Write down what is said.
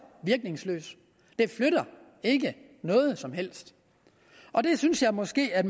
virkningsløst det flytter ikke noget som helst og det synes jeg måske at